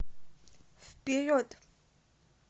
вперед